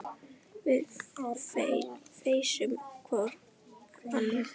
Við feisum hvor ann